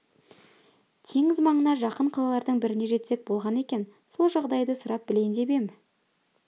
теңіз маңына жақын қалалардың біріне жетсек болғаны екен сол жағдайды сұрап білейін деп ем